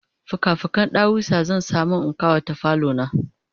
fika fiken ɗawisu zan samu in ƙawata falo na